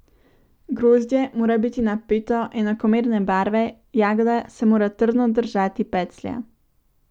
Grozdje mora biti napeto, enakomerne barve, jagoda se mora trdno držati peclja.